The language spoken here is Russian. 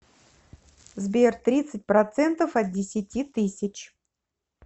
сбер тридцать процентов от десяти тысяч